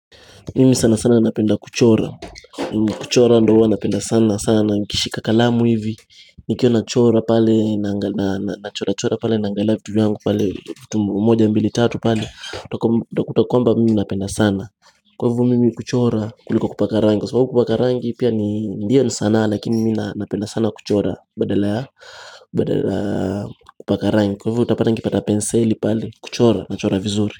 Mimi sana sana napenda kuchora kuchora ndo huwa napenda sana sana nikishika kalamu hivi Nikiwa nachora pale na chora chora pale naangalia vitu vyangu pale vitu moja mbili tatu pale Utakuta kwamba mimi napenda sana Kwa hivyo mimi kuchora kuliko kupaka rangi Kwa sababu kupaka rangi pia ni ndiyo sana Lakini mimi napenda sana kuchora badala ya Kupaka rangi Kwa hivyo utapata nikipata penseli pale kuchora, nachora vizuri.